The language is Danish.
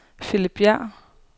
Philip Bjerg